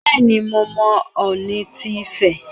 Bẹ́ẹ̀ni, mo mọ Ọọ̀ni ti Ifẹ̀.